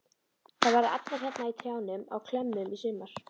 Þær verða allar hérna í trjánum á klemmum í sumar.